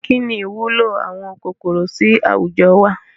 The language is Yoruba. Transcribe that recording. Kínní ìwúlò àwọn kòkòrò sì àwùjọ wá?